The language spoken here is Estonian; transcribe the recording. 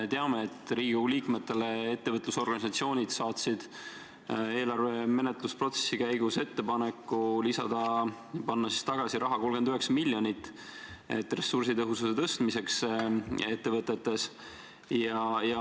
Teame, et ettevõtlusorganisatsioonid saatsid Riigikogu liikmetele eelarve menetlusprotsessi käigus ettepaneku panna tagasi 39 miljonit eurot ressursitõhususe suurendamiseks ettevõtetes.